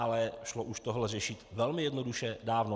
Ale šlo už toto řešit velmi jednoduše, dávno.